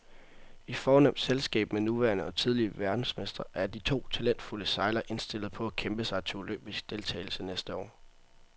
I fornemt selskab med nuværende og tidligere verdensmestre er de to talentfulde sejlere indstillet på at kæmpe sig til olympisk deltagelse næste år.